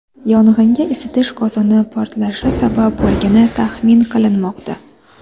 Yong‘inga isitish qozoni portlashi sabab bo‘lgani taxmin qilinmoqda.